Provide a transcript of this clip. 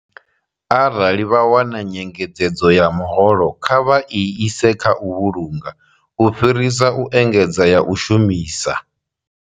Arali vha wana nyengedzedzo ya muholo, kha vha i ise kha u vhulunga u fhirisa u engedza ya u shumisa.